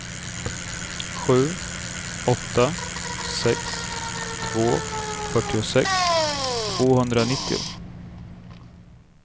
sju åtta sex två fyrtiosex tvåhundranittio